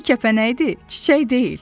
Bu ki kəpənəkdir, çiçək deyil.